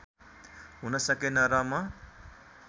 हुन सकेन र म